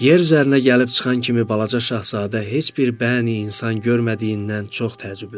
Yer üzərinə gəlib çıxan kimi balaca Şahzadə heç bir bəni-insan görmədiyindən çox təəccübləndi.